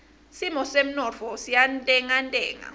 simo semnotfo siyantengantenga